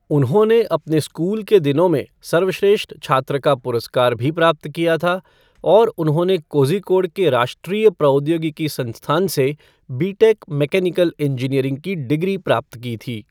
उन्होंने अपने स्कूल के दिनों में सर्वश्रेष्ठ छात्र का पुरस्कार भी प्राप्त किया था और उन्होंने कोझिकोड के राष्ट्रीय प्रौद्योगिकी संस्थान से बीटेक मैकेनिकल इंजीनियरिंग की डिग्री प्राप्त की थी।